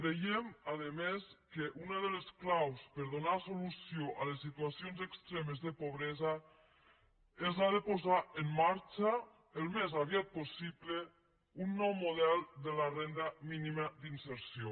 creiem a més a més que una de les claus per donar solució a les situacions extremes de pobresa és la de posar en marxa al més aviat possible un nou model de la renda mínima d’inserció